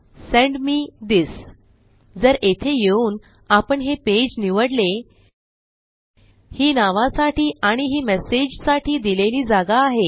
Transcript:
send me this जर येथे येऊन आपण हे पेज निवडले ही नावासाठी आणि ही मेसेजसाठी दिलेली जागा आहे